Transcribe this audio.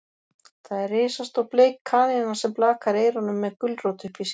Það er risastór bleik kanína sem blakar eyrunum með gulrót uppí sér.